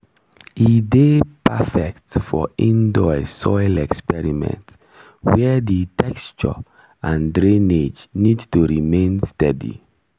e dey perfect ?] for indoor soil experiment where di texture and drainage need to remain steady.